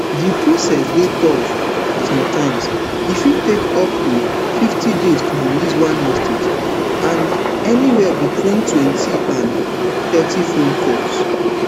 di process dey tough sometimes e fit take up to fifty days to release one hostage and anywia between twenty and thirty phone calls